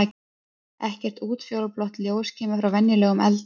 Ekkert útfjólublátt ljós kemur frá venjulegum eldi.